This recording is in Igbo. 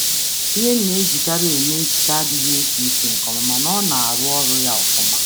Ngwa nhicha m masịrị m enweghị isi na-esi ike, ma na-arụ ọrụ nke ọma.